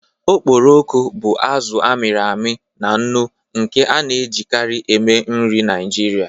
Okporoko bụ azụ a mịrị amị na nnu nke a na-ejikarị eme nri Naijiria.